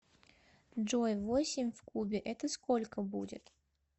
джой восемь в кубе это сколько будет